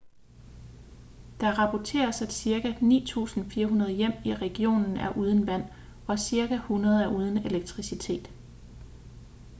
der rapporteres at cirka 9.400 hjem i regionen er uden vand og cirka 100 er uden elektricitet